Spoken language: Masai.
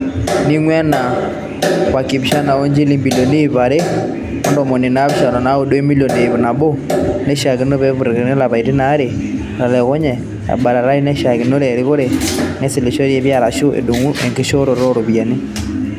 Ningua ena wenkipaasha oonjilingini ibilioni iip are o ntomoni naapishana onaudo wemilion iip nabo, nashiakino neputakini too lapaitin aare otelekunye, ebatatai naashakinore erikore neisilenisho pii arashu edung' enkishoroto ooropiyiani.